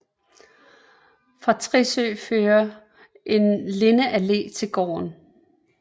Fra Tissø fører en lindeallé til gården